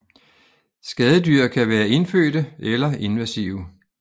Skadedyr kan være indfødte eller invasive